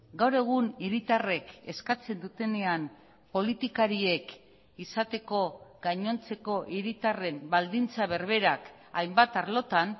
gaur egun hiritarrek eskatzen dutenean politikariek izateko gainontzeko hiritarren baldintza berberak hainbat arlotan